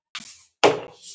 Gekkst þú með Guði.